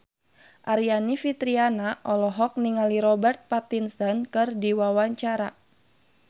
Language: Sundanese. Aryani Fitriana olohok ningali Robert Pattinson keur diwawancara